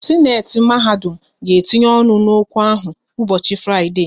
Sịnate mahadum ga etinye ọnụ n'okwu ahụ ụbọchị Fraịdee